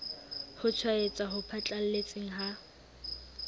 ho tshwaetsa ho phatlalletseng ha